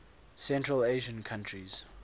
central asian countries